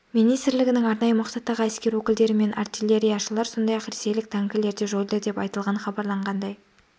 министрлігінің арнайы мақсаттағы әскер өкілдері мен артиллерияшылар сондай-ақ ресейлік танкілер де жойылды деп айтылған хабарланғандай